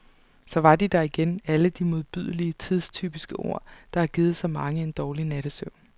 Så var de der igen, alle de modbydelige, tidstypiske ord, der har givet så mange en dårlig nattesøvn.